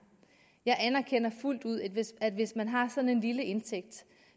jeg anerkender fuldt ud at hvis at hvis man har sådan en lille indtægt